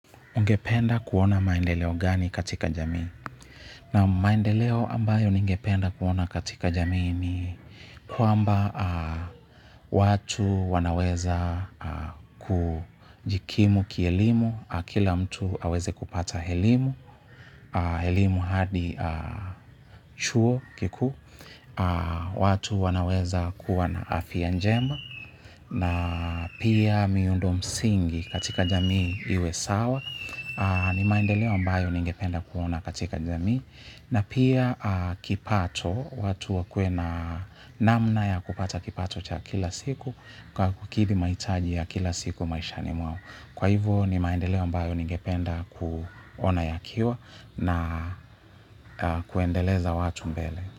Ungependa kuona maendeleo gani katika jamii? Naam maendeleo ambayo ningependa kuona katika jamii ni kwamba watu wanaweza kujikimu kielimu, kila mtu aweze kupata elimu, elimu hadi chuo kikuu, watu wanaweza kuwa na afya njema, na pia miundo msingi katika jamii iwe sawa, ni maendeleo ambayo ningependa kuona katika jamii na pia kipato watu wakue na namna ya kupata kipato cha kila siku kwa kukidhi mahitaji ya kila siku maisha ni mwao. Kwa hivyo ni maendeleo ambayo ningependa kuona ya kiwa na kuendeleza watu mbele.